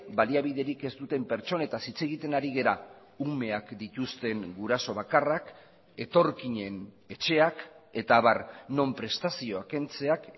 baliabiderik ez duten pertsonetaz hitz egiten ari gara umeak dituzten guraso bakarrak etorkinen etxeak eta abar non prestazioak kentzeak